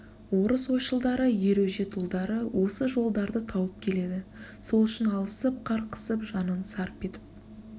орыс ойшылдары ер өжет ұлдары осы жолдарды тауып келеді сол үшін алысып қарқысып жанын сарп етіп